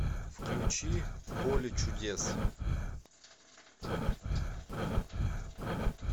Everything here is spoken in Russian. включи поле чудес